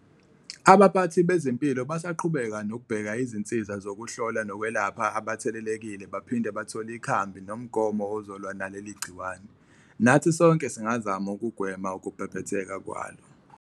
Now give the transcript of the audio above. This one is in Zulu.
Abaphathi bezempilo basaqhubeka nokubheka izinsiza sokuhlola nokwelapha abathelelekile baphinde bathole ikhambi nomgomo ozolwa naleli gciwane, nathi sonke singazama ukugwema ukubhebhetheka kwalo.